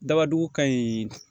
Dabadugu ka ɲi